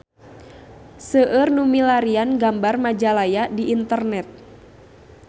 Seueur nu milarian gambar Majalaya di internet